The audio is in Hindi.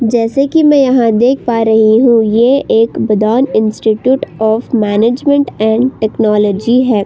जैसे कि मैं यहाँ देख पा रही हूं यह एक बदान institute of management and technology है।